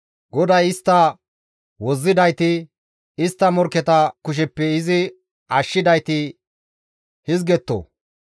GODAY istta wozzidayti, istta morkketa kusheppe izi ashshidayti hizgetto;